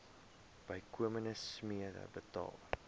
bykomende smere betaal